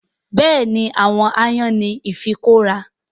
Bẹ́ẹ̀ni àwọn aáyán ní ifikọ́ra